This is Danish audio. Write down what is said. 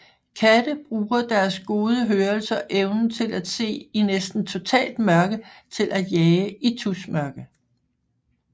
Katte bruger deres gode hørelse og evnen til at se i næsten totalt mørke til at jage i tusmørke